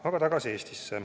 Aga tagasi Eestisse.